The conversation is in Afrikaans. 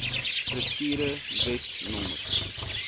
strukture wet no